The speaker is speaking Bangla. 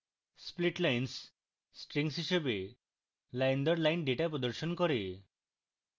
splitlines strings হিসাবে line দর line ডেটা প্রদর্শন করে